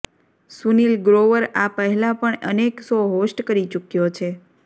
સુનિલ ગ્રોવર આ પહેલા પણ અનેક શો હોસ્ટ કરી ચૂક્યો છે